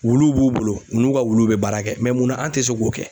Wuluw b'u bolo, u n'u ka wuluw be baara kɛ munna an tɛ se k'o kɛ?